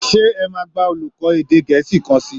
Sé ẹ máa gba olùkọ́ èdè Gẹ̀ẹ́sì kan sí í?